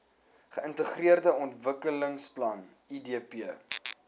geintegreerde ontwikkelingsplan idp